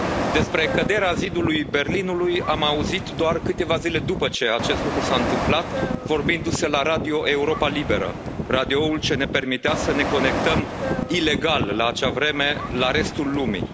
Despre căderea zidului Berlinului am auzit doar câteva zile după ce acest lucru s a întâmplat, vorbindu se la Radio Europa Liberă, radioul ce ne permitea să ne conectăm ilegal, la acea vreme, la restul lumii.